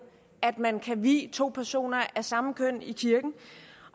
at man kan vie to personer af samme køn i kirken